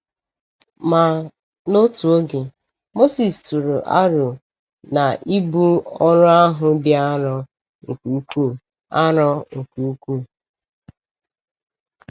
Ma, n’otu oge, Mosis tụrụ aro na ibu ọrụ ahụ dị arọ nke ukwuu. arọ nke ukwuu.